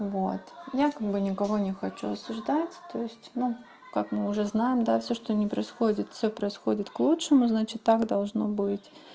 вот я как бы никого не хочу осуждать то есть ну как мы уже знаем да всё что ни происходит всё происходит к лучшему значит так должно быть